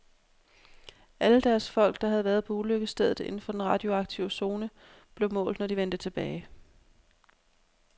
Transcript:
Alle deres folk, der havde været på ulykkesstedet inden for den radioaktive zone, blev målt, når de vendte tilbage.